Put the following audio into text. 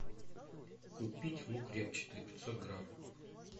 купить лук репчатый пятьсот грамм